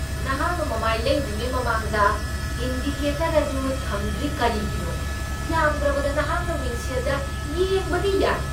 ꯅꯍꯥꯛꯅ ꯃꯃꯥꯏ ꯂꯩꯗ꯭ꯔꯤꯉꯩ ꯃꯃꯥꯡꯗ ꯏꯟꯗꯤꯀꯦꯇꯔ ꯑꯗꯨ ꯊꯝꯗ꯭ꯔꯤ ꯀꯔꯤꯒꯤꯅꯣ? ꯌꯥꯝꯗ꯭ꯔꯕꯗ ꯅꯍꯥꯛꯅ ꯃꯤꯡꯁꯦꯜꯗ ꯌꯦꯡꯕꯗꯤ ꯌꯥꯏ꯫